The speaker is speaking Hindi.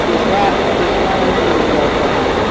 दूसरा-दूसरा रंग लग रहा है।